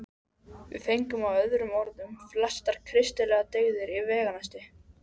Við fengum með öðrum orðum flestar kristilegar dyggðir í veganesti.